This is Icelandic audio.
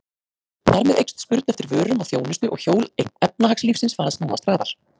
Þar með eykst spurn eftir vörum og þjónustu og hjól efnahagslífsins fara að snúast hraðar.